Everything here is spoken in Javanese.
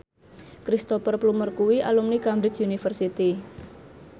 Cristhoper Plumer kuwi alumni Cambridge University